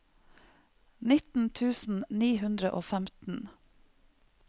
nitten tusen ni hundre og femten